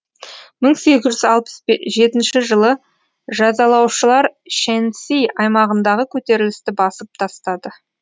мың сегіз жүз алпыс жетінші жылы жазалаушылар шэньси аймағындағы көтерілісті басып тастады